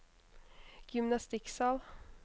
gymnastikksal